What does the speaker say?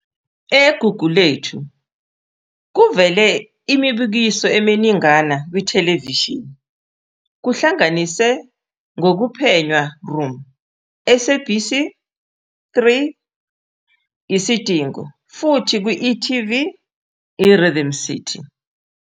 EGugulethu kuvele imibukiso eminingana kwithelevishini, kuhlanganise "kokuphenywa Room," SABC3 "Isidingo", futhi e.tv i-Rhythm City.